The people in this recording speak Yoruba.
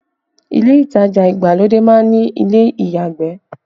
Ile itaja ìgbàlódé má ń ní ilé ìyàgbẹ̀